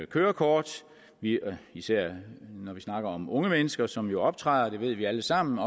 kørekort især når vi snakker om unge mennesker som jo optræder det ved vi alle sammen